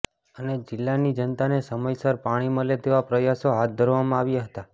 અને જિલ્લા ની જનતા ને સમય સર પાણી મલે તેવા પ્રયાસો હાથ ધરવામાં આવ્યા હતા